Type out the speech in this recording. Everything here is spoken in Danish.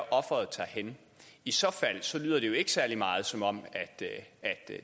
offeret tager hen i så fald lyder det jo ikke særlig meget som om